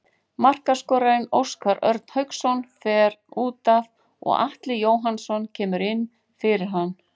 Markaskorarinn Óskar Örn Hauksson fer útaf og Atli Jóhannsson kemur inn fyrir hann.